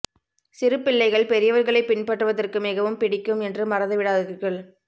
சிறு பிள்ளைகள் பெரியவர்களைப் பின்பற்றுவதற்கு மிகவும் பிடிக்கும் என்று மறந்துவிடாதீர்கள்